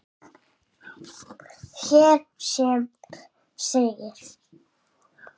sem hér segir